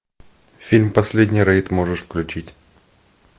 фильм последний рейд можешь включить